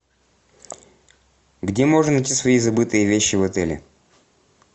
где можно найти свои забытые вещи в отеле